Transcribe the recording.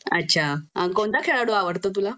अछा अन कोणता खेळाडू आवडतो तुला?